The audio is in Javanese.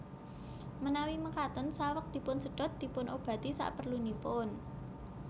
Manawi makaten saweg dipunsedhot dipunobati saprelunipun